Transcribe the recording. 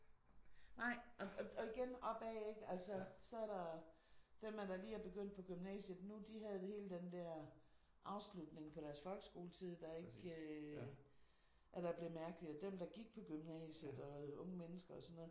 Nej og igen opad ik altså så er der dem der lige er begyndt på gymnasiet nu de havde hele den der afslutning på deres folkeskoletid der ikke at der blev mærkelig og dem der gik på gymnasiet og unge mennesker og sådan noget